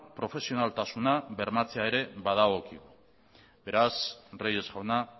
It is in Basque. profesionaltasuna bermatzea ere badagokigu beraz reyes jauna